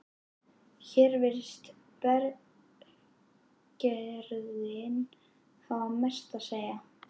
Hér virðist berggerðin hafa mest að segja.